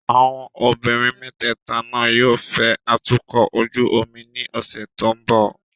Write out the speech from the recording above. Àwọn obìnrin mẹ́tẹ̀ẹ̀ta náà yóò fẹ́ atukọ̀ ojú omi ní ọ̀sẹ̀ tó ń bọ̀.